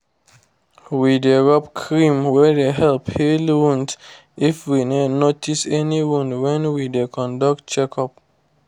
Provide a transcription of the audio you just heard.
we dey rub cream wey dey help heal wounds if we notice any wound when we dey conduct check up